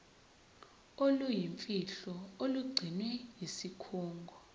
oluyimfihlo olugcinwe yisikhungo